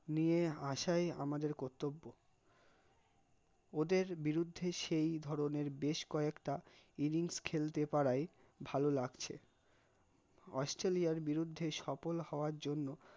নিয়ে আসাই আমাদের কর্তব্য, ওদের বিরুদ্ধে সেই ধরনের বেশ কয়েকটা innings খেলতে পারাই ভালো লাগছে, অস্ট্রেলিয়ার বিরুদ্ধে সফল হওয়ার জন্য